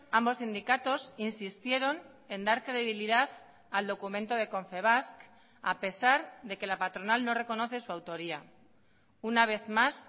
ambos sindicatos insistieron en dar credibilidad al documento de confebask a pesar de que la patronal no reconoce su autoría una vez más